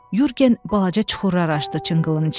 Yurgen balaca çuxurlar açdı cınqılın içində.